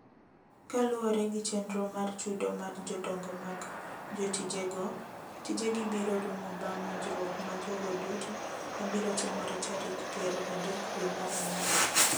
Kaluwore gi chenro mar chudo mar jodongo mag jotijego, tijegi biro rumo bang’ winjruok ma jogo duto ma biro timore tarik piero adek dwe mar ang’wen.